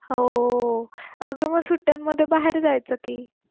हो अग मग सुट्ट्यांमध्ये बाहेर जायचं की